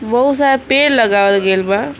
वो शायद पेड़ लगावल गइल बा।